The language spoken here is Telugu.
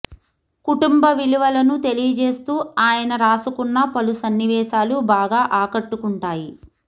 కుటుంబ విలువలను తెలియజేస్తూ ఆయన రాసుకున్న పలు సన్నివేశాలు బాగా ఆకట్టుకుంటాయి